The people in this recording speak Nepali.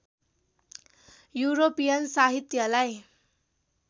युरोपियन साहित्यलाई